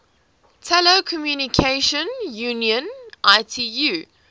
telecommunication union itu